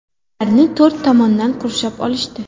Ularni to‘rt tomondan qurshab olishdi.